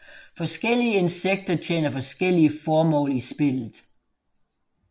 Forskellige insekter tjener forskellige formål i spillet